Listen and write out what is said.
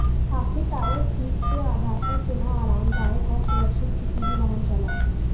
आखिर टायर ठीक से आधार पर चुना आरामदायक और सुरक्षित किसी भी वाहन चला